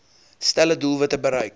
stelle doelwitte bereik